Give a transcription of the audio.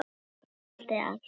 Ég seldi allt.